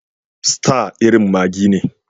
Star irin maggi ne.